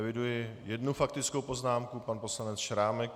Eviduji jednu faktickou poznámku, pan poslanec Šrámek.